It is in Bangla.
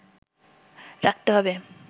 রাখতে হবে